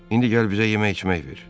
İndi gəl bizə yemək içmək ver.